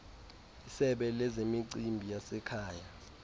isebe lezemicimbi yasekhaya